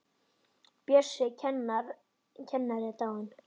Bjössi kennari er dáinn.